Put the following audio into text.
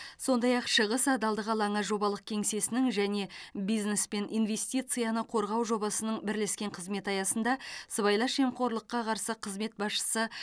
сондай ақ шығыс адалдық алаңы жобалық кеңсесінің және бизнес пен инвестицияны қорғау жобасының бірлескен қызметі аясында сыбайлас жемқорлыққа қарсы қызмет басшысы